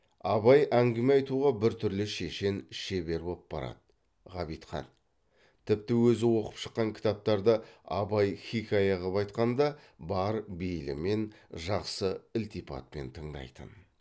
абай әңгіме айтуға бір түрлі шешен шебер боп барады ғабитхан тіпті өзі оқып шыққан кітаптарды абай хиқая қып айтқанда бар бейілімен жақсы ілтипатпен тыңдайтын